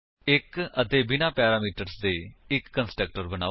1 ਅਤੇ ਬਿਨਾਂ ਪੈਰਾਮੀਟਰਸ ਦੇ ਇੱਕ ਕੰਸਟਰਕਟਰ ਬਨਾਓ